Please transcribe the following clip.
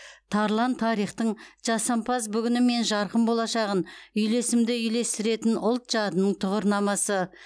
тарлан тарихтың жасампаз бүгіні мен жарқын болашағын үйлесімді үйлестіретін ұлт жадының тұғырнамасы